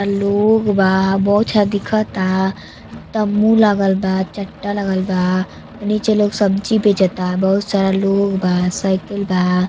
लोग बा बहुत अच्छा दिखता तम्बू लागल बा चट्टा लागल बा नीचे लोग सब्जी बेचता बहुत सारा लोग बा साइकिल बा।